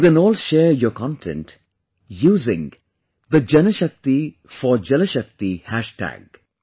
You can all share your content using the JanShakti4JalShakti hashtag